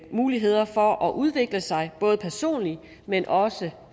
muligheder for at udvikle sig både personligt men også